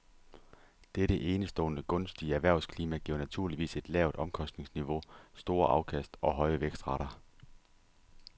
Dette enestående gunstige erhvervsklima giver naturligvis et lavt omkostningsniveau, store afkast og høje vækstrater.